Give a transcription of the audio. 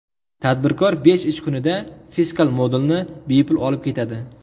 Tadbirkor besh ish kunida fiskal modulni bepul olib ketadi.